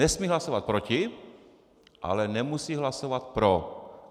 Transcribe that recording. Nesmí hlasovat proti, ale nemusí hlasovat pro.